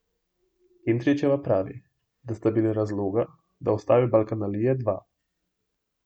Kentrićeva pravi, da sta bila razloga, da ustvari Balkanalije, dva.